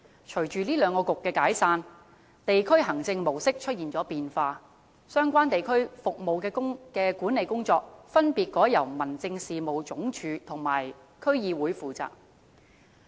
隨着兩局解散，地區行政模式出現變化，相關地區服務的管理工作，分別改由民政事務總署和區議會負責。